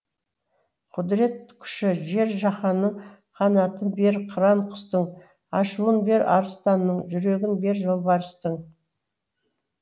құдірет күші жер жаһанның қанатын бер қыран құстың ашуын бер арыстанның жүрегін бер жолбарыстың